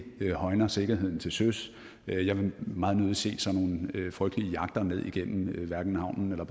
ikke højner sikkerheden til søs jeg vil meget nødig se sådan nogle frygtelige jagter ned igennem havnen eller